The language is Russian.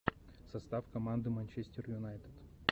состав команды манчестер юнайтед